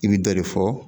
I bɛ dɔ de fɔ